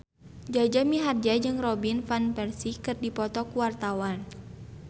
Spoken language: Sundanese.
Jaja Mihardja jeung Robin Van Persie keur dipoto ku wartawan